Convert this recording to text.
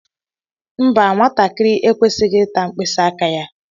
Mbà, nwatakịrị ekwesighi ịta mkpisi aka ya.